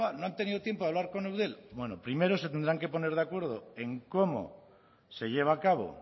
no han tenido tiempo de hablar con eudel bueno primero se tendrán que poner de acuerdo en cómo se lleva a cabo